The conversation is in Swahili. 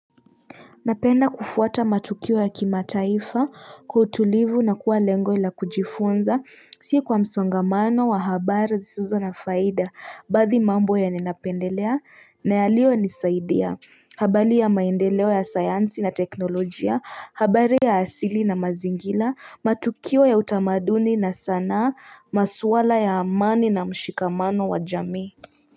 Napenda kufuata matukio ya kimataifa, kwa utulivu na kuwa lengo la kujifunza, si kwa msongamano wa habari zisizo na faida. Baadhi mambo ya ninapendelea, na yaliyonisaidia, habari ya maendeleo ya sayansi na teknolojia, habari ya asili na mazingira, matukio ya utamaduni na sanaa, maswala ya amani na mshikamano wa jamii.